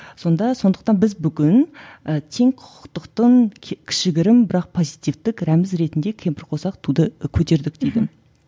сонда сондықтан біз бүгін і тең құқықтықтың кішігірім бірақ позитивтік рәміз ретінде кемпірқосақ туды көтердік дейді мхм